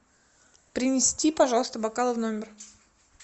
принести пожалуйста бокалы в номер